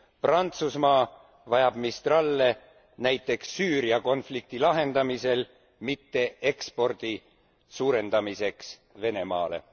Prantsusmaa vajab Mistrale näiteks Süüria konflikti lahendamisel, mitte ekspordi suurendamiseks Venemaale.